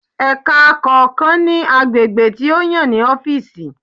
Ẹka kọọkan ni agbegbe ti o yan ni ọfiisi.